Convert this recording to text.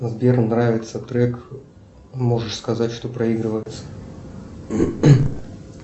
сбер нравится трек можешь сказать что проигрывается